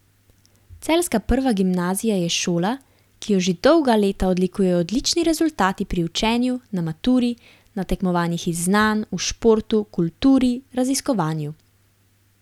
Celjska prva gimnazija je šola, ki jo že dolga leta odlikujejo odlični rezultati pri učenju, na maturi, na tekmovanjih iz znanj, v športu, kulturi, raziskovanju.